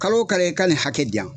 Kalo o kalo i ka nin hakɛ di yan